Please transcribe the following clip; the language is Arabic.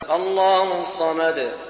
اللَّهُ الصَّمَدُ